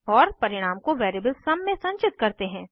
और परिणाम को वेरिएबल सुम सम में संचित करते हैं